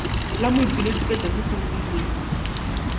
la moipiletši ka tšatšikgwedi le